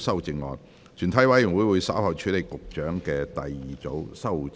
全體委員會稍後會處理局長的第二組修正案。